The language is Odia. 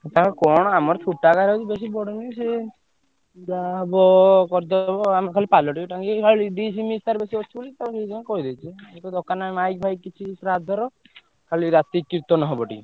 ନା କଣ ଆମର ବି ବେଶୀ ବଡ ନୁହେଁ ସିଏ ଯାହା ହବ କରିଦବ ଆମର ଖାଲି ପାଲ ଟିକେ ଟାଙ୍ଗି ଦେଇ ଯାହା ଡିଶ୍ ମିଷ ତାର କିଛି ଅଛି ସେଇଥିପାଇଁ କହିଦେଇଥିଲି। କିଛି ଦରକାର ନାଇଁ ମାଇକ ଫାଇକ କିଛି ଶ୍ରାଦ୍ଧର ଖାଲି ରାତିକି କୀର୍ତ୍ତନ ହବ ଟିକେ।